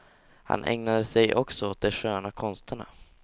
Han ägnade sig också åt de sköna konsterna.